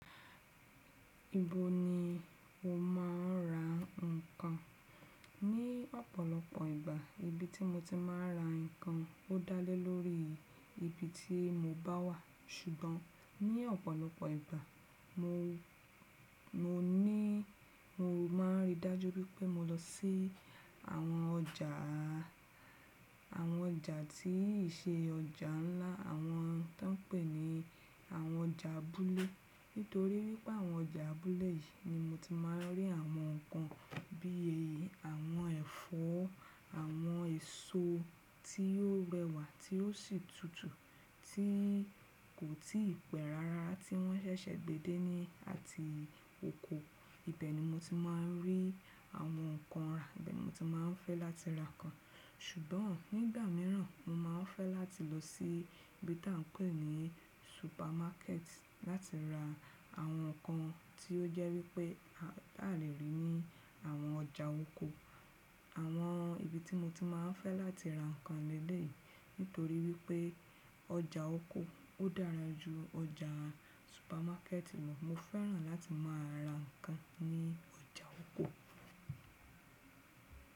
Ibo ni o má a ń ra nǹkan? Ni ọ̀pọ̀lọpọ̀ ìgbà, ibi tí mo ti máa ń ra nǹkan ó dá lé lórí ibi tí mo bá wà. Ṣùgbọ́n ní ọ̀pọ̀lọpọ̀ ìgbà, mo ní mo máa ń rí dájú pé mo lọ sí àwọn ọjà, àwọn ọjà tí ì ṣe ọjà ńlá, àwọn tó ń pè ní àwọn ọjà abúlé. Nítorí wípé àwọn ọjà abúlé yìí ni mo ti máa ń rí àwọn ǹkan bí i àwọn ẹ̀fọ́, àwọn èso tí yóò rẹwà tí ó sì tutù, tí kò tí pẹ́ rara tí wọ́n ṣẹ̀ṣẹ̀ gbe dé ní àti oko. Ìbẹ̀ ni mo ti máa ń rí àwọn ǹkan rà, ìbẹ̀ ni mo ti máa ń fẹ́ láti ra nǹkan. Ṣùgbọ́n nígbà míràn mo máa ń fẹ́ láti lọ sí ibi tí à ń pè ní supermarket láti ra àwọn ǹkan tí ó jẹ́ wípé a le rí ní àwọn ọjà oko. Àwọn ibi tí mo ti máa ń fẹ́ láti ra nǹkan leleyii nítorí wípé ọjà oko ó dára ju ọjà supermarket lọ. Mo fẹ́ràn láti máa ra nǹkan ní ọjà oko.